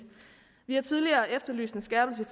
vi har tidligere efterlyst en skærpelse